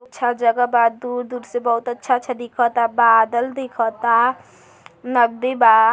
अच्छा जगह बा। दूर-दूर से बहुत अच्छा अच्छा दिखाता। बादल दिखता। नदी बा।